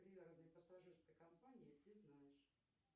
пассажирской компании ты знаешь